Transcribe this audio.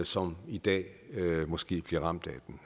som i dag måske bliver ramt